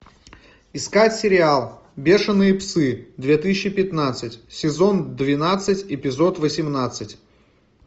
искать сериал бешеные псы две тысячи пятнадцать сезон двенадцать эпизод восемнадцать